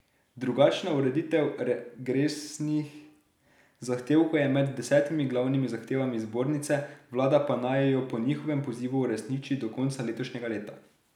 Drugačna ureditev regresnih zahtevkov je med desetimi glavnimi zahtevami zbornice, vlada pa naj jo po njihovem pozivu uresniči do konca letošnjega leta.